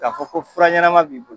K'a fɔ ko fura ɲɛnama b'i bolo.